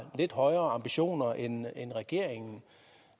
lidt højere ambitioner end regeringen